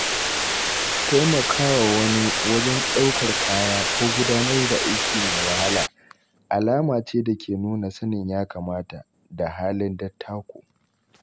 Taimakawa wani wajen ɗaukar kaya ko gudanar da aiki mai wahala alama ce da ke nuna sanin ya-kamata da halin dattako.